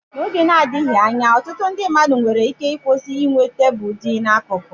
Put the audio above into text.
N'oge na-adịghị anya, ọtụtụ mmadụ nwere ike ịkwụsị inwe tebụl dị n'akụkụ.